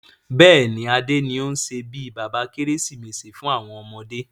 Bẹ́ẹ̀ni, Adé ni o n ṣe bí bàbá Kérésìmesì fún àwọn ọmọdé.